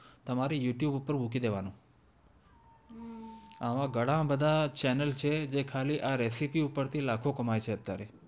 તમારી YouTube પર મૂકી દેવાનો એમાં ઘણા બધા ચેનલ છે જે ખાલી આ રેસિપી ઉપર થી લખો કંમાંય છે અત્યારે